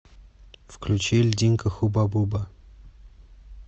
включи льдинка хубабуба